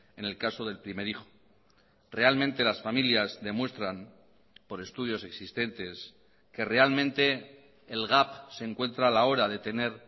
en el caso del primer hijo realmente las familias demuestran por estudios existentes que realmente el gap se encuentra a la hora de tener